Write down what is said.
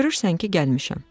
Görürsən ki, gəlmişəm.